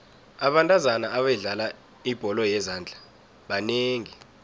abentazana abadlala ibholo yezandla banengi